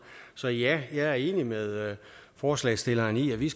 så ja jeg er enig med forslagsstillerne i at vi